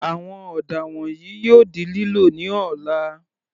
Àwọn ọ̀dà wọ̀nyìí yóò di lílò ní ọ̀la.